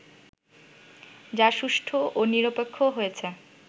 যা সুষ্ঠু ও নিরপেক্ষ হয়েছে